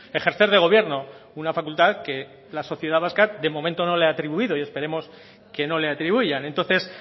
ejercer de gobierno una facultad que la sociedad vasca de momento no le ha atribuido y esperemos que no le atribuyan entonces